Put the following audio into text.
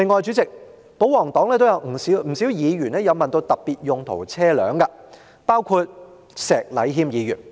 主席，另外，保皇黨中也有不少議員就特別用途車輛提出質詢，包括石禮謙議員。